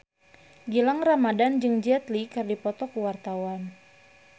Gilang Ramadan jeung Jet Li keur dipoto ku wartawan